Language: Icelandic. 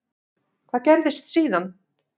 Hvað gerðist síðan?